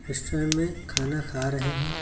Restaurant में खाना खा रहे हैं।